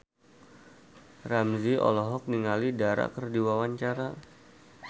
Ramzy olohok ningali Dara keur diwawancara